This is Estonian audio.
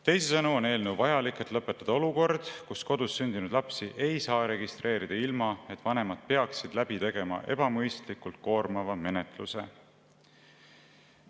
Teisisõnu on eelnõu vajalik, et lõpetada olukord, kus kodus sündinud lapsi ei saa registreerida ilma, et vanemad peaksid läbi tegema ebamõistlikult koormava menetluse.